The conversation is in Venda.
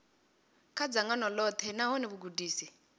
kha dzangano ḽoṱhe nahone vhugudisi